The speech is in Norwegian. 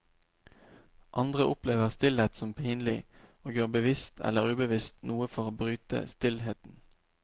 Andre opplever stillhet som pinlig, og gjør bevisst eller ubevisst noe for å bryte stillheten.